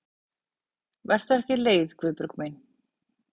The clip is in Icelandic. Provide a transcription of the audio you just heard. Vertu ekki leið Guðbjörg mín.